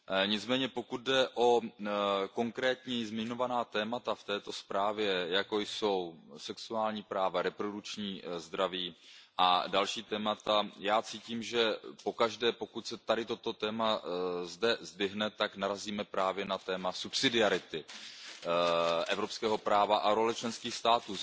Nicméně pokud jde o konkrétní zmiňovaná témata v této zprávě, jako jsou sexuální práva, reprodukční zdraví a další témata, já cítím, že pokaždé, pokud se tady toto téma zdvihne, tak narazíme právě na téma subsidiarity evropského práva a role členských států.